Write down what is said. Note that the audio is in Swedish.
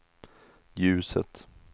ljuset